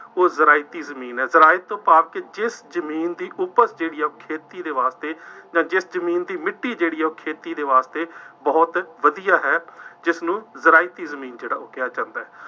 ਉਹ ਜ਼ਰਾਇਤੀ ਜ਼ਮੀਨ ਹੈ। ਜ਼ਰਾਇਤ ਤੋਂ ਭਾਵ ਜਿਸ ਜ਼ਮੀਨ ਦੀ ਉਪਜ ਜਿਹੜੀ ਹੈ ਉਹ ਖੇਤੀ ਦੇ ਵਾਸਤੇ ਜਾਂ ਜਿਸ ਜ਼ਮੀਨ ਦੀ ਮਿੱਟੀ ਜਿਹੜੀ ਹੈ, ਉਹ ਖੇਤੀ ਦੇ ਵਾਸਤੇ ਬਹੁਤ ਵਧੀਆ ਹੈ। ਜਿਸਨੂੰ ਜ਼ਰਾਇਤੀ ਜ਼ਮੀਨ ਕਿਹਾ ਜਾਂਦਾ ਹੈ।